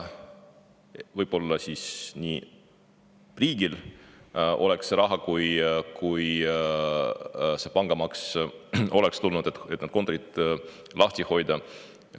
Võib-olla siis, kui see pangamaks oleks tulnud, oleks riigil olnud raha, et need kontorid lahti hoida.